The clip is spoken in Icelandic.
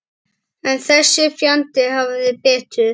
En þessi fjandi hafði betur.